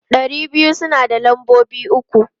Ɗari biyu suna da lambobi uku.